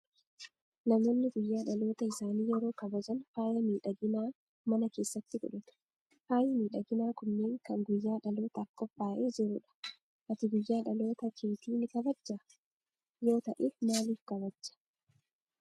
Namoonni guyyaa dhaloota isaanii yeroo kabajan faaya miidhaginaa mana keessatti godhatu. Faayi miidhaginaa kunneen kan guyyaa dhalootaaf qophaa'ee jiru dha. Ati guyyaa dhaloota keetii ni kabajjaa? Yoo ta'eef maaliif kabajja?